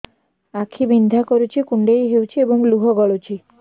ଆଖି ବିନ୍ଧା କରୁଛି କୁଣ୍ଡେଇ ହେଉଛି ଏବଂ ଲୁହ ଗଳୁଛି